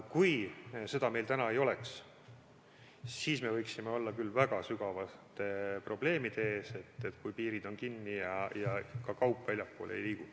Kui meil seda täna ei oleks, siis me võiksime küll olla väga sügavalt probleemide ees, kui piirid on kinni ja ka kaup väljapoole ei liigu.